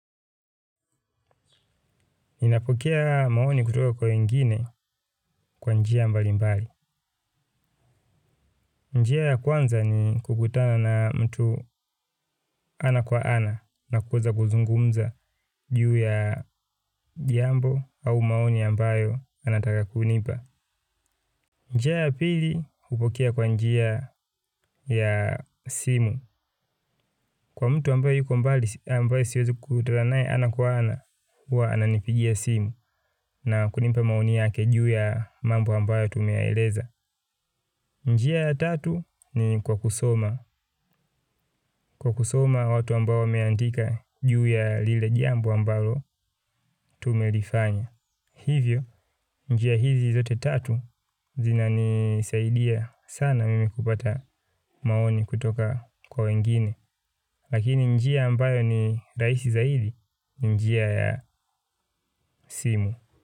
Ninapokea maoni kutoka kwa wengine kwa njia mbali mbali. Njia ya kwanza ni kukutana na mtu ana kwa ana na kuweza kuzungumza juu ya jambo au maoni ambayo anataka kunipa. Njia ya pili kupokea kwa njia ya simu kwa mtu ambaye yuko ambayo siwezi kutana nae ana kwa ana huwa ananipigia simu na kunipa maoni yake juu ya mambo ambayo tumeyaeleza. Njia ya tatu ni kwa kusoma. Kwa kusoma watu ambayo wameandika juu ya lile jambo ambalo tumelifanya. Hivyo, njia hizi zote tatu zina nisaidia sana mimi kupata maoni kutoka kwa wengine. Lakini njia ambayo ni rahisi zaidi ni, njia ya simu.